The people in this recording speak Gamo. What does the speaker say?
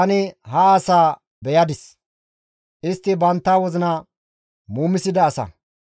«Tani ha asaa beyadis; istti bantta wozina muumida asa.